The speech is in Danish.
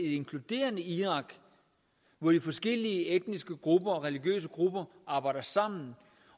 inkluderende irak hvor de forskellige etniske grupper og religiøse grupper arbejder sammen